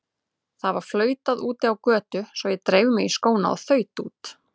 Það var flautað úti á götu svo ég dreif mig í skóna og þaut út.